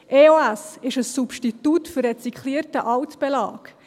EOS ist ein Substitut für recycelten Altbelag.